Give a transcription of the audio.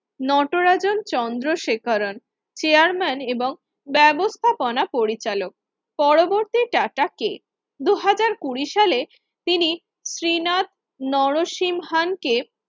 নটরাজা Chandrasekaran chairman এবং ব্যবস্থাপনা পরিচালক পরবর্তী টাটাকে দুই হাজার কুড়ি সালে তিনি শ্রীনাথ নর সিংহাম কে